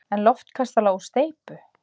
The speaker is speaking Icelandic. En loftkastala úr steypu!